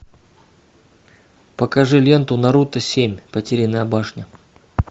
покажи ленту наруто семь потерянная башня